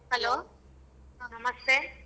Hello ನಮಸ್ತೆ.